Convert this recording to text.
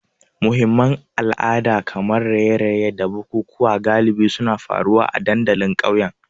Muhimman ayyukan al'ada kamar raye-raye da bukukuwa galibi suna faruwa a dandalin ƙauyen.